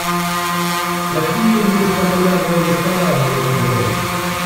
какие есть популярные рестораны в этом городе